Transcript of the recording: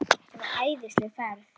Þetta var æðisleg ferð.